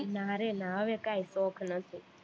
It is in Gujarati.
ના રે ના હવે કઈ શોખ નથી